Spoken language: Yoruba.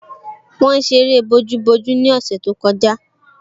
Wọ́n ṣe eré bojúbojú ní ọ̀sẹ̀ tó kọjá